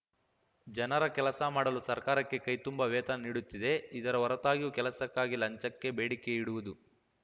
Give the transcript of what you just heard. ಜನರ ಕೆಲಸ ಮಾಡಲು ಸರ್ಕಾರಕ್ಕೆ ಕೈತುಂಬಾ ವೇತನ ನೀಡುತ್ತಿದೆ ಇದರ ಹೊರತಾಗಿಯೂ ಕೆಲಸಕ್ಕಾಗಿ ಲಂಚಕ್ಕೆ ಬೇಡಿಕೆ ಇಡುವುದು